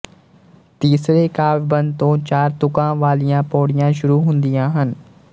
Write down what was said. ਤੀਸਰੇ ਕਾਵਿਬੰਦ ਤੋਂ ਚਾਰ ਤੁਕਾਂ ਵਾਲੀਆਂ ਪਉੜੀਆਂ ਸ਼ੁਰੂ ਹੁੰਦੀਆਂ ਹਨ